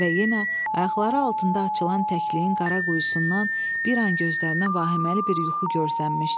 Və yenə ayaqları altında açılan təkliyin qara quyusundan bir an gözlərinə vahiməli bir yuxu görsənmişdi.